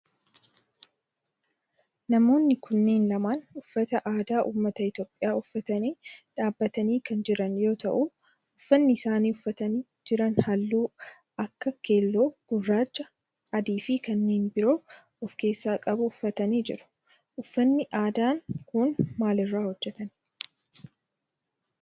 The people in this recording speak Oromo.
Namoonni kunneen lamaan uffata aadaa ummata Itiyoophiyaa uffatanii dhaabbatanii kan jiran yoo ta'u uffanni isaan uffatanii jiran halluu akka keelloo, gurraacha, adii fi kanneen biroo of keessaa qabu uffatanii jiru. uffanni aadaan kun maal irraa hojjetama?